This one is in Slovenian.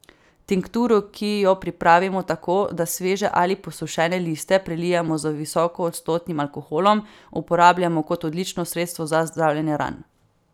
Tinkturo, ki jo pripravimo tako, da sveže ali posušene liste prelijemo z visokoodstotnim alkoholom, uporabljamo kot odlično sredstvo za zdravljenje ran.